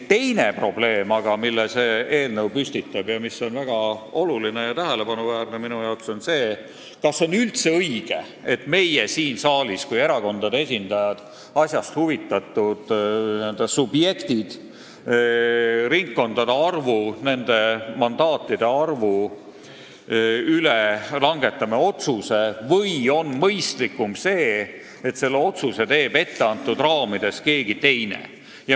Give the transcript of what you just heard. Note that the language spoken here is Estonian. Teine probleem aga, mille see eelnõu püstitab ning mis on minu arvates väga oluline ja tähelepanuväärne, on see, kas on üldse õige, et meie siin saalis kui erakondade esindajad, n-ö asjast huvitatud subjektid langetame otsuseid ringkondade ja mandaatide arvu üle, või oleks mõistlikum see, kui selle otsuse teeks etteantud raamides keegi teine.